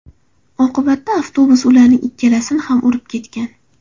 Oqibatda avtobus ularning ikkalasini ham urib ketgan.